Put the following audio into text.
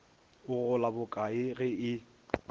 o gola bokae ge e